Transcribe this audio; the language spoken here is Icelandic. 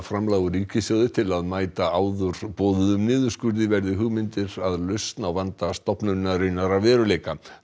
framlag úr ríkissjóði til þess að mæta áður boðuðum niðurskurði verði hugmyndir að lausn á vanda stofnunarinnar að veruleika